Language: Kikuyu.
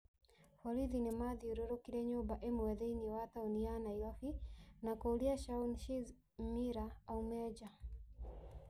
Borithi nĩ maathiũrũrũkĩirie nyũmba ĩmwe thĩinĩ wa tauni ya Nairobi na kuuria Shaun "Shizz" Miller aume nja.